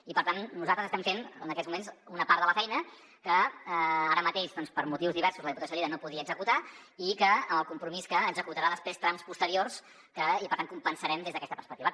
i per tant nosaltres estem fent en aquests moments una part de la feina que ara mateix per motius diversos la diputació de lleida no podia executar amb el compromís que executarà després trams posteriors i per tant ho compensarem des d’aquesta perspectiva